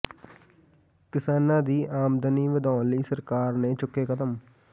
ਕਿਸਾਨਾਂ ਦੀ ਆਮਦਨੀ ਵਧਾਉਣ ਲਈ ਸਰਕਾਰ ਨੇ ਚੁੱਕੇ ਕਦਮ